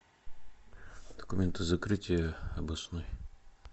документы закрытия обоснуй